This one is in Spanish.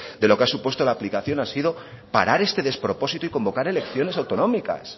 de lo que ha supuesto la aplicación ha sido parar este despropósito y convocar elecciones autonómicas